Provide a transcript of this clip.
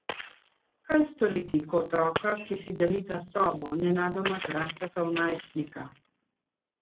Kaj storiti, ko otroka, ki si delita sobo, nenadoma zrasteta v najstnika?